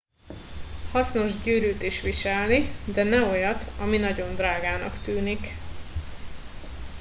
hasznos gyűrűt is viselni de ne olyat ami nagyon drágának tűnik